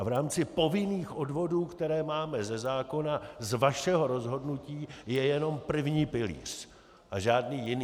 A v rámci povinných odvodů, které máme ze zákona, z vašeho rozhodnutí je jenom první pilíř a žádný jiný.